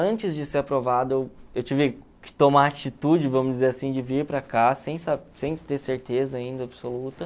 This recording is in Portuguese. Antes de ser aprovado, eu eu tive que tomar a atitude, vamos dizer assim, de vir para cá, sem sem ter certeza ainda absoluta.